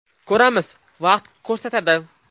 Ko‘ramiz, vaqt ko‘rsatadi.